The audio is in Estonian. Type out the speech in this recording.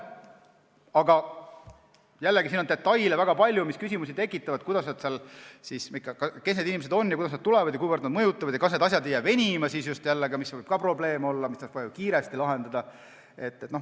Aga jällegi, siin on väga palju detaile, mis küsimusi tekitavad: kes need inimesed on, kust nad tulevad, kuivõrd nad seda mõjutavad ja kas ei jää venima need asjad, mida tuleks väga kiiresti lahendada, mis võib ka probleem olla.